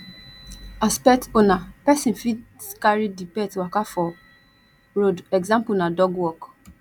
as pet owner person fit carry di pet waka for road example na dog walk